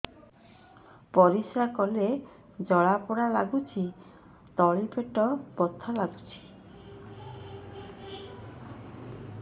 ପରିଶ୍ରା କଲେ ଜଳା ପୋଡା ଲାଗୁଚି ତଳି ପେଟ ବଥା ଲାଗୁଛି